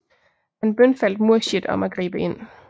Han bønfaldt Murshid om at gribe ind